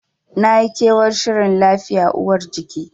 Nayi kewar shirin lafiya uwar jiki.